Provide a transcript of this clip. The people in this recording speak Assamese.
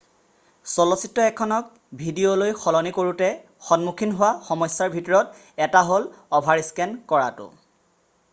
চলচিত্ৰ এখনক ডিভিডিলৈ সলনি কৰোতে সন্মুখীন হোৱা সমস্যাৰ ভিতৰত এটা হ'ল অভাৰস্কেন কৰাটো